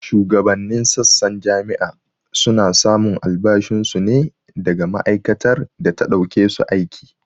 Shugabanin sassan jami'a su na samun albashin su ne daga ma'aikatar da ta ɗauke su aiki